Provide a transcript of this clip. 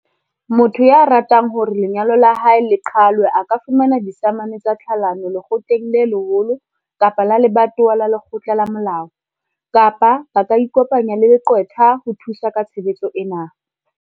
Motho ya ratang hore lenyalo la hae le qhalwe a ka fumana disamane tsa tlhalano lekgotleng le leholo kapa la lebatowa la lekgotla la molao, kapa ba ka ikopanya le leqwetha ho thusa ka tshebetso ena.